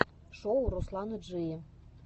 шоу русланы джии